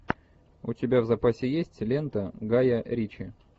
у тебя в запасе есть лента гая ричи